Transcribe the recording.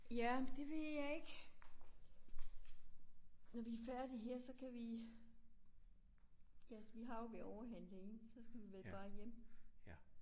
Ja det ved jeg ikke. Når vi er færdige her så kan vi. Ja vi har jo været ovre og handle ind så skal vi vel bare hjem